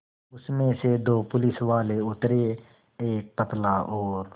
उसमें से दो पुलिसवाले उतरे एक पतला और